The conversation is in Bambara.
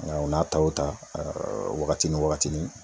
Nga o n'a ta wo ta wagati ni wagatinin